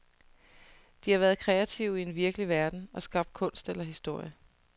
De har været kreative i en virkelig verden og skabt kunst eller historie.